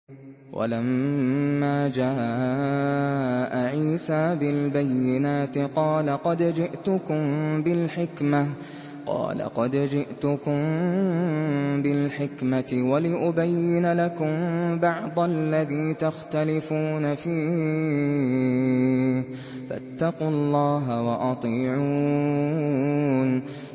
وَلَمَّا جَاءَ عِيسَىٰ بِالْبَيِّنَاتِ قَالَ قَدْ جِئْتُكُم بِالْحِكْمَةِ وَلِأُبَيِّنَ لَكُم بَعْضَ الَّذِي تَخْتَلِفُونَ فِيهِ ۖ فَاتَّقُوا اللَّهَ وَأَطِيعُونِ